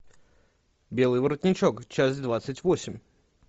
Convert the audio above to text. белый воротничок часть двадцать восемь